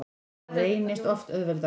Það reynist oft auðveldara.